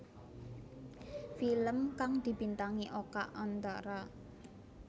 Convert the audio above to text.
Film kang dibintangi Oka Antara